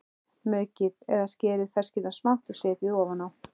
Maukið eða skerið ferskjurnar smátt og setjið ofan á.